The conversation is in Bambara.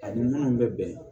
Ani minnu bɛ bɛn